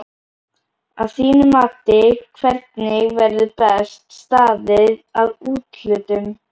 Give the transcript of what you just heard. Að þínu mati hvernig verður best staðið að úthlutun?